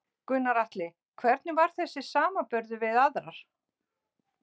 Gunnar Atli: Hvernig var þessi í samanburði við aðrar?